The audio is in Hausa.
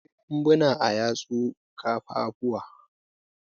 Akwai ƙumbuna a yatsu ka ƙafafu.